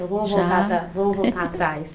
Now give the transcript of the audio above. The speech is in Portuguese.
Já? Vamos voltar para, vamos voltar atrás.